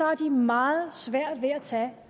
har de meget svært ved at tage